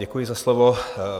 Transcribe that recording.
Děkuji za slovo.